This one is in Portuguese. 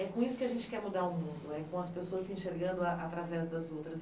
É com isso que a gente quer mudar o mundo, com as pessoas se enxergando a através das outras.